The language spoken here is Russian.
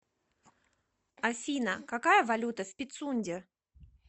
афина какая валюта в пицунде